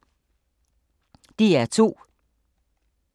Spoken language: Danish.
DR2